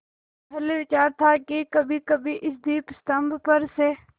पहले विचार था कि कभीकभी इस दीपस्तंभ पर से